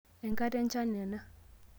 Enkata echan ena